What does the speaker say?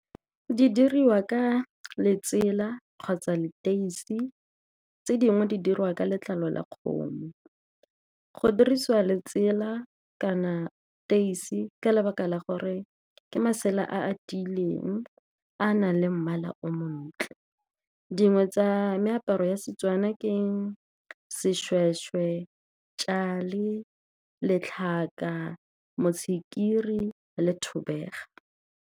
Di diriwa ka letsela kgotsa leteisi tse dingwe, di dirwa ka letlalo la kgomo. Go dirisiwa letsela kana teisi, ka lebaka la gore ke masela a a tileng, a nang le mmala o montle. Dingwe tsa meaparo ya seTswana ke seshweshwe , letlhaka, mosekiri le thobega.